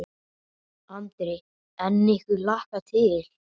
Andri: En ykkur hlakkar til?